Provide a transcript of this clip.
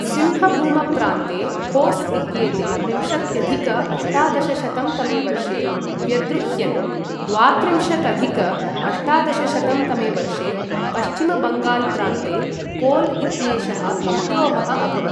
सिंहभूम प्रान्ते होस् इत्येते विंशत्यधिक अष्टादशशतं तमे वर्षे व्यद्रुह्यन्, द्वात्रिंशदधिक अष्टादशशतं तमे वर्षे पश्चिमबङ्गाल प्रान्ते कोल इत्येषः विद्रोहः अभवत्।